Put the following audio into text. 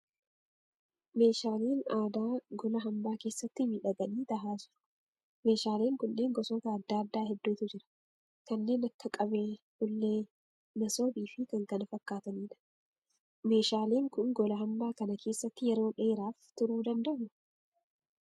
Meeshaaleen aadaa gola hambaa keessatti miidhaganii tahaa jiru. Meeshaaleen kunneen gosoota adda addaa hedduutu jira. Kanneen akka qabee, ullee, masoobii fi kan kana fakkaataniidha. Meeshaaleen kun gola hamba kana keessa yeroo dheeraaf turuu dandahuu?